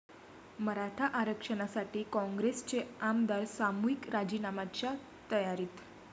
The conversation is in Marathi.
मराठा आरक्षणासाठी काँग्रेसचे आमदार सामूहिक राजीनाम्याच्या तयारीत!